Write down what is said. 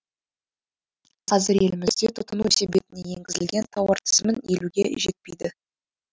қазір елімізде тұтыну себетіне енгізілген тауар тізімін елуге жетпейді